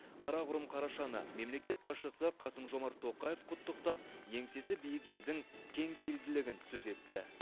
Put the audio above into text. қарақұрым қарашаны мемлекет басшысы қасым жомарт тоқаев құттықтап еңсесі биік елдің кеңпейілділігін сөз етті